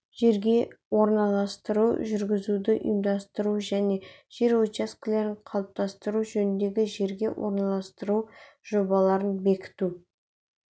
жерге орналастыруды жүргізуді ұйымдастыру және жер учаскелерін қалыптастыру жөніндегі жерге орналастыру жобаларын бекіту